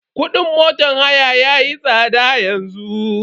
Kudin motan haya yayi tsada yanzu.